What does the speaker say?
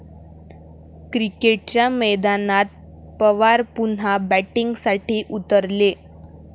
क्रिकेटच्या मैदानात पवार पुन्हा 'बॅटिंग'साठी उतरले!